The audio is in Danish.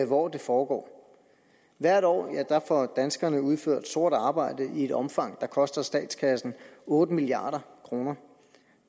hvor det foregår hvert år får danskerne udført sort arbejde i et omfang der koster statskassen otte milliard kroner